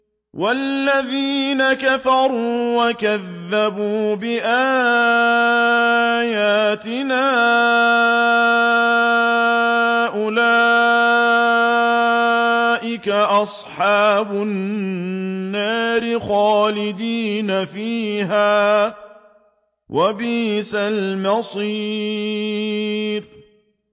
وَالَّذِينَ كَفَرُوا وَكَذَّبُوا بِآيَاتِنَا أُولَٰئِكَ أَصْحَابُ النَّارِ خَالِدِينَ فِيهَا ۖ وَبِئْسَ الْمَصِيرُ